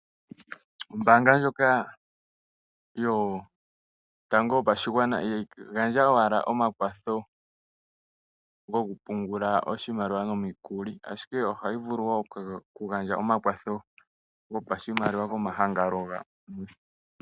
Oombaanga yotango yopashigwana ihayi gandja owala omakwatho goku pungula oshimaliwa nomikuli ,ashike ohayi vulu woo okugandja omakwatho gopashimaliwa komahangano gamwe.